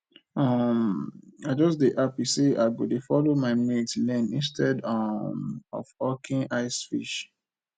um i just dey happy say i go dey follow my mates learn instead um of hawking ice fish